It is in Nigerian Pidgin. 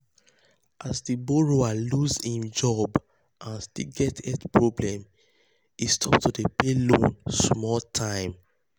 as um di borrower lose im um job and still get um health problem he stop to dey pay loan small time.